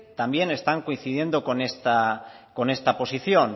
también están coincidiendo con esta posición